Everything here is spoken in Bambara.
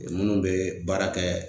Minnu bɛ baara kɛ